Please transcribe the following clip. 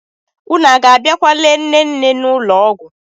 Unu a ga-abịakwa lee nne nne n'ụlọ ọgwụ?